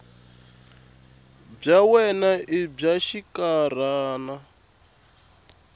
bya wena i bya xinkarhana